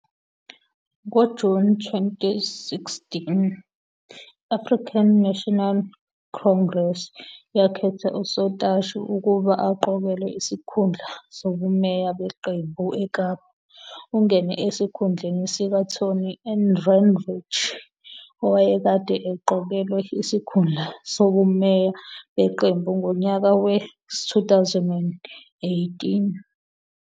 NgoJuni 2016, i-African National Congress yakhetha uSotashe ukuba aqokelwe isikhundla sobumeya beqembu eKapa. Ungene esikhundleni sikaTony Ehrenreich owayekade eqokelwe isikhundla sobumeya beqembu ngonyaka we-2011.